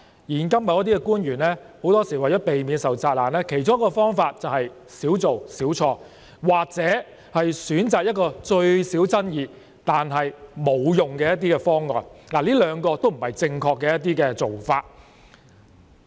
現今某些官員很多時候為避免受責難，其中一個方法便是"少做少錯"，或選擇一項最少爭議但沒有效用的方案，這兩者均不是正確的做法。